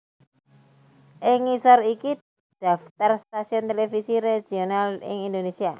Ing ngisor iki daftar stasiun televisi regional ing Indonésia